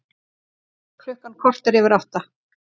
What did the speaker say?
Klukkan korter yfir átta